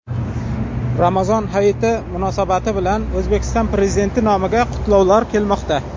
Ramazon hayiti munosabati bilan O‘zbekiston Prezidenti nomiga qutlovlar kelmoqda.